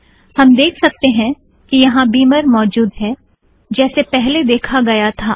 हम देख सकतें हैं कि यहाँ बिमर मौजूद है जैसे पहले देखा गया था